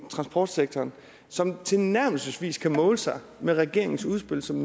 transportsektoren som tilnærmelsesvis kan måle sig med regeringens udspil som